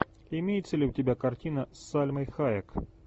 имеется ли у тебя картина с сальмой хайек